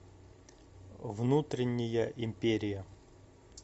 внутренняя империя